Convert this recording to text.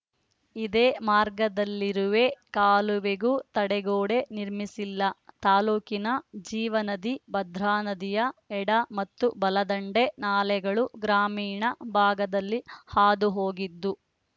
ಇದೆ ಮಾರ್ಗದಲ್ಲಿರುವೆ ಕಾಲುವೆಗೂ ತಡೆಗೋಡೆ ನಿರ್ಮಿಸಿಲ್ಲ ತಾಲೂಕಿನ ಜೀವನದಿ ಭದ್ರಾನದಿಯ ಎಡ ಮತ್ತು ಬಲದಂಡೆ ನಾಲೆಗಳು ಗ್ರಾಮೀಣ ಭಾಗದಲ್ಲಿ ಹಾದು ಹೋಗಿದ್ದು